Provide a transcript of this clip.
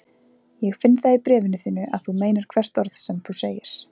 Ég finn það í bréfinu þínu að þú meinar hvert orð sem þú segir.